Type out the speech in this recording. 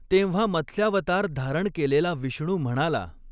तेंव्हा मत्स्यावतार धारण केलेला विष्णु म्हणाला .